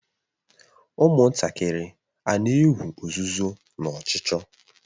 Ụmụntakịrị a na-egwu ozuzo na ọchụchọ?